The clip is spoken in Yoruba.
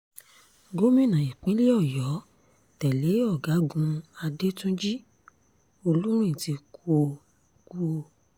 gómìnà ìpínlẹ̀ ọ̀yọ́ tẹ́lẹ̀ ọ̀gágun adẹ́túnjì olúrin ti kú o kú o